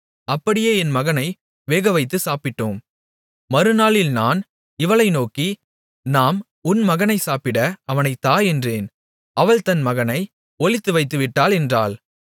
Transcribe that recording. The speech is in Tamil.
அப்படியே என் மகனை வேகவைத்துச் சாப்பிட்டோம் மறுநாளில் நான் இவளை நோக்கி நாம் உன் மகனைச் சாப்பிட அவனைத் தா என்றேன் அவள் தன் மகனை ஒளித்துவைத்துவிட்டாள் என்றாள்